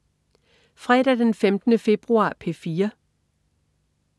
Fredag den 15. februar - P4: